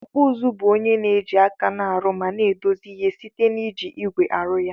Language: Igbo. Okpụ ụzụ bu onye na eji aka na arụ ma na edozi ihe site na iji igwe arụ ya.